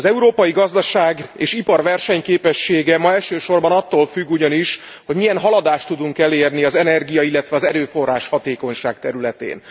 Az európai gazdaság és ipar versenyképessége ma elsősorban attól függ ugyanis, hogy milyen haladást tudunk elérni az energia illetve az erőforráshatékonyság területén.